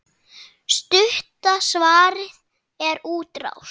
Stutta svarið er útrás.